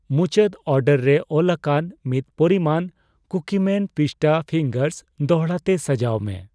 ᱢᱩᱪᱟᱹᱫ ᱚᱨᱰᱟᱨ ᱨᱮ ᱚᱞᱟᱠᱟᱱ ᱢᱤᱫ ᱯᱚᱨᱤᱢᱟᱱ ᱠᱩᱠᱤᱢᱮᱱ ᱯᱤᱥᱴᱟ ᱯᱷᱤᱝᱜᱟᱨᱥ ᱫᱚᱲᱦᱟ ᱛᱮ ᱥᱟᱡᱟᱣ ᱢᱮ ᱾